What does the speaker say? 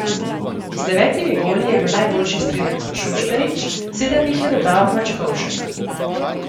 Z devetimi goli je bil najboljši strelec Šoštarić, sedem jih je dodal Mačkovšek.